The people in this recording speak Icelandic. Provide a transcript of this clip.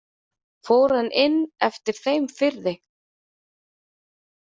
Fór hann inn eftir þeim firði.